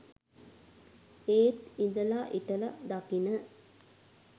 ඒත් ඉදල හිටල දකින